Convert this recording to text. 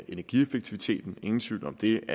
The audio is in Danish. energieffektiviteten ingen tvivl om det